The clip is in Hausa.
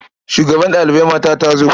Shugabar ɗalibai mata ta zo.